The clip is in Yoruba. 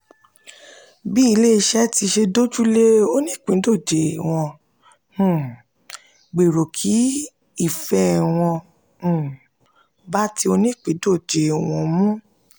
bí ilé-iṣẹ́ ṣe ti dójú lé onípìńdọ̀jẹ̀ wọ́n um gbèrò kí ìfẹ́ wọn um bá ti onípìńdọ̀jẹ̀ wọn mu.